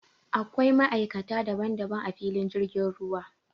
Akwai ma'aikata daban daban a filin jirgin ruwa